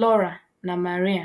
Laura, na María.